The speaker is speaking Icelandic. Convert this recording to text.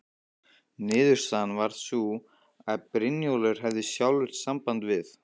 Niðurstaðan varð sú að Brynjólfur hefði sjálfur samband við